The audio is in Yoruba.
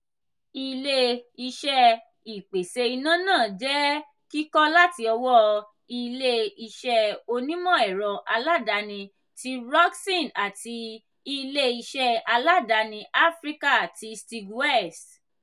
ilé-iṣẹ́ ìpèsè iná náà je kikọ láti ọwọ ilé-iṣé onímọ̀-ẹ̀rọ aládàáni ti rockson àti ilé-iṣé aládàáni áfríkà ti steag west